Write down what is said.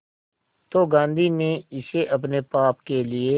तो गांधी ने इसे अपने पाप के लिए